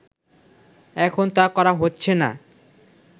এখন তা করা হচ্ছেনা